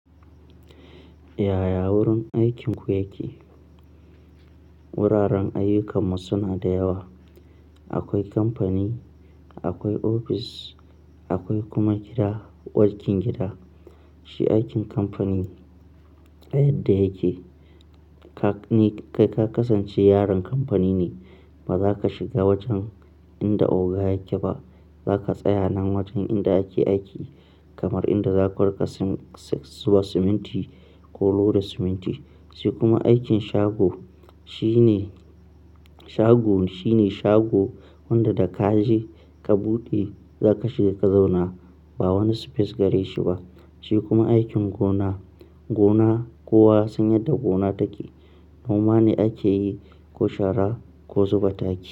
Yaya wurin aikinku yake? Wuraren ayyukanmu suna da yawa. Akwai kamfani, akwai ofis, akwai kuma gida, wajen gida. Shi aikin kamfani, yadda yake ka kasance yaron kamfani ne. Ba za ka shiga wajen inda oga yake ba, za ka tsaya nan wajen inda ake aiki kamar inda za ka zuba siminti ko loda siminti. Shi kuma aikin shago shi shago shine shago wanda da ka je ka buɗe za ka shiga ka zauna ba wani space gare shi ba. Shi kuma aikin gona, gona kowa san yadda gona take. Noma ne ake yi ko shara ko zuba taki.